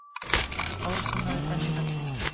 Árásarmaður enn í haldi